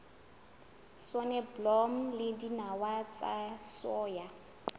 soneblomo le dinawa tsa soya